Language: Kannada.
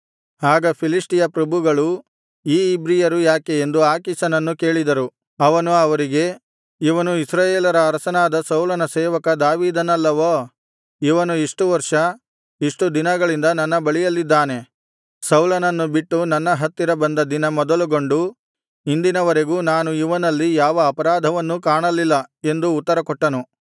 ಆಗ ಫಿಲಿಷ್ಟಿಯ ಪ್ರಭುಗಳು ಈ ಇಬ್ರಿಯರು ಯಾಕೆ ಎಂದು ಆಕೀಷನನ್ನು ಕೇಳಿದರು ಅವನು ಅವರಿಗೆ ಇವನು ಇಸ್ರಾಯೇಲರ ಅರಸನಾದ ಸೌಲನ ಸೇವಕ ದಾವೀದನಲ್ಲವೋ ಇವನು ಇಷ್ಟು ವರ್ಷ ಇಷ್ಟು ದಿನಗಳಿಂದ ನನ್ನ ಬಳಿಯಲ್ಲಿದ್ದಾನೆ ಸೌಲನನ್ನು ಬಿಟ್ಟು ನನ್ನ ಹತ್ತಿರ ಬಂದ ದಿನ ಮೊದಲುಗೊಂಡು ಇಂದಿನವರೆಗೂ ನಾನು ಇವನಲ್ಲಿ ಯಾವ ಅಪರಾಧವನ್ನೂ ಕಾಣಲಿಲ್ಲ ಎಂದು ಉತ್ತರಕೊಟ್ಟನು